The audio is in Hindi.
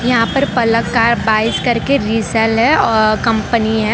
यहां पर पलक का बाइक्स करके रिसेल है आह कंपनी है।